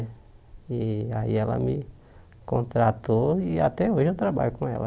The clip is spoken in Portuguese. Aí ela me contratou e até hoje eu trabalho com ela.